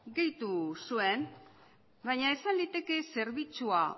gehitu zuen baina esan liteke zerbitzua